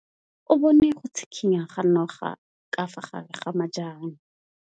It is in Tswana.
O bone go tshikinya ga noga ka fa gare ga majang.